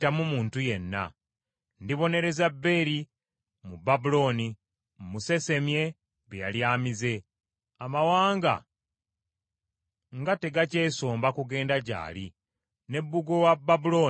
Ndibonereza Beri mu Babulooni, mmusesemye bye yali amize. Amawanga nga tegakyesomba kugenda gyali. Ne bbugwe wa Babulooni aligwa.